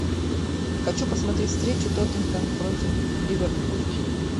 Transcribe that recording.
хочу посмотреть встречу тоттенхэм против ливерпуль